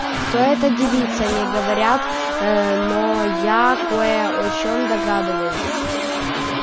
кто эта девица не говорят но я кое о чём догадываюсь